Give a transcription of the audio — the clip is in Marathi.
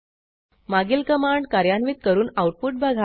मागील कमांड कार्यान्वित करून आऊटपुट बघा